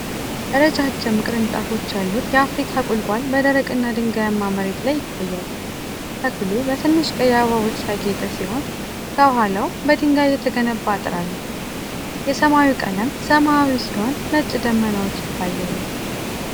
ረጃጅም ቅርንጫፎች ያሉት የአፍሪካ ቁልቋል በደረቅና ድንጋያማ መሬት ላይ ይታያል። ተክሉ በትንሽ ቀይ አበባዎች ያጌጠ ሲሆን፣ ከኋላው በድንጋይ የተገነባ አጥር አለ። የሰማዩ ቀለም ሰማያዊ ሲሆን ነጭ ደመናዎች ይታያሉ።